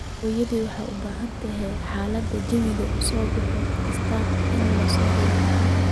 hooyaday waxay u baahan tahay xaalada jawiga usbuuc kasta in loo soo diro